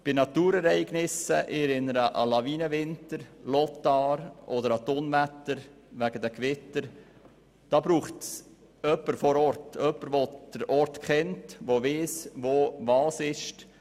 Bei Naturereignissen – ich erinnere an den Lawinenwinter, den Sturm Lothar oder Unwetter infolge von Gewittern – braucht es jemanden vor Ort, jemand, der den Ort kennt und weiss, wo sich was befindet.